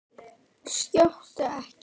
Skjóttu ekki.